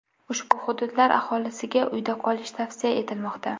Ushbu hududlar aholisiga uyda qolish tavsiya etilmoqda.